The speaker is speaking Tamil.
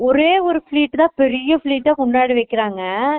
ஓரே ஒரு fleat தான் பெரிய fleat டா முனாடி வைக்குறாங்க